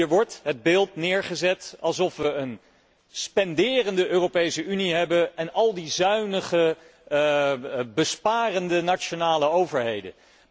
Hier wordt het beeld neergezet alsof we een spenderende Europese Unie hebben en al die zuinige besparende nationale overheden.